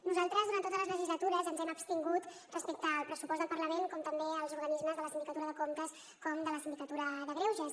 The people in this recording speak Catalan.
nosaltres durant totes les legislatures ens hem abstingut respecte al pressupost del parlament com també del dels organismes de la sindicatura de comptes i del síndic de greuges